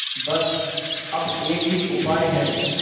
बस अब एक ही उपाय है